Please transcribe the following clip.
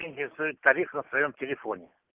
интересует тариф на своём телефоне